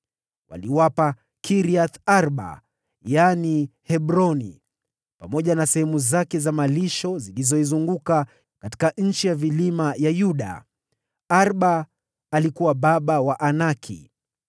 Waliwapa Kiriath-Arba (yaani Hebroni), pamoja na sehemu zake za malisho zilizoizunguka, katika nchi ya vilima ya Yuda. (Arba alikuwa baba wa Anaki.)